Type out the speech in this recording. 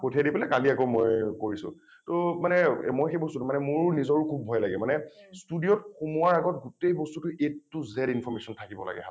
পঠিয়াই দি পেলাই কালি আকৌ মই কৰিছোঁ । টো মানে এ মই সেই বস্তুটো মোৰ নিজৰো খুব ভয় লাগে মানে studio ত সোমোৱাৰ আগত গোটেই বস্তুটো a to z information থাকিব লাগে হাতত।